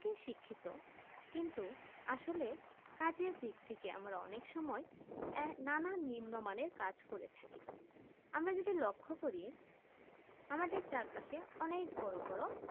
প্রত্যেকে শিক্ষিত কিন্তু আসলে কাজের দিক থেকে আমরা অনেক সময় না না নিন্ম মানে কাজ করেছি কি আমাদের লক্ষ যদি করি আমাদের চারপাশে অনেক বড়ো বড়ো